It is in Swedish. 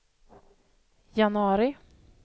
januari